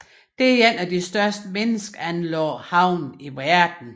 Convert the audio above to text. Det er en af de største menneskeanlagte havn i verden